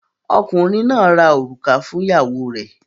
Ọkùnrin náà ra òrùka fún ìyàwó rẹ̀.